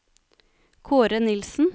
Kaare Nilsen